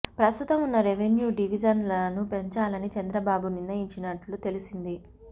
ప్రస్తుతం ఉన్న రెవెన్యూ డివిజన్లను పెంచాలని చంద్రబాబు నిర్ణయించినట్టు తెలిసింది